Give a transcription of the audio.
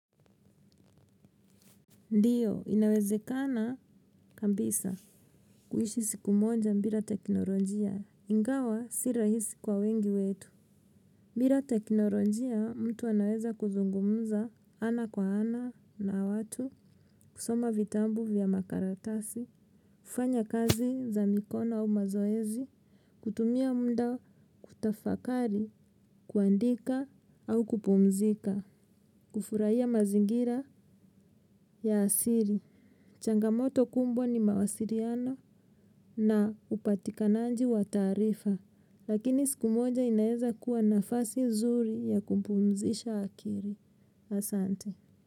Ndiyo, inawezekana kabisa. Kuishi siku moja bila teknolojia. Ingawa, si rahisi kwa wengi wetu. Bila teknolojia, mtu anaweza kuzungumza ana kwa ana na watu. Kusoma vitabu vya makaratasi. Kufanya kazi za mikono au mazoezi. Kutumia mda kutafakari, kuandika au kupumzika. Kufurahia mazingira ya asili Changamoto kubwa ni mawasiliano na upatikananji wa taarifa, lakini siku moja inaweza kuwa nafasi nzuri ya kumpumzisha akili. Asante.